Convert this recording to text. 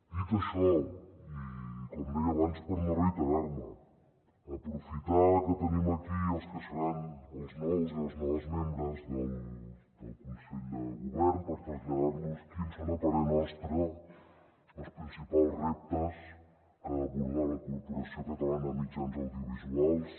dit això i com deia abans per no reiterar me aprofitar que tenim aquí els que seran els nous i les noves membres del consell de govern per traslladar los quins són a parer nostre els principals reptes que ha d’abordar la corporació catalana de mitjans audiovisuals